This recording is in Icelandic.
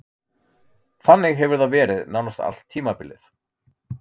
Þannig hefur það verið nánast allt tímabilið.